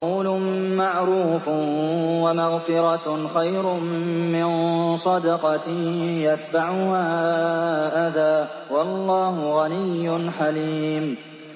۞ قَوْلٌ مَّعْرُوفٌ وَمَغْفِرَةٌ خَيْرٌ مِّن صَدَقَةٍ يَتْبَعُهَا أَذًى ۗ وَاللَّهُ غَنِيٌّ حَلِيمٌ